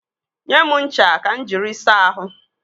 Nye m ncha ka m jiri saa ahụ.